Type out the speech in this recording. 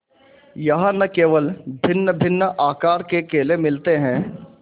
यहाँ न केवल भिन्नभिन्न आकार के केले मिलते हैं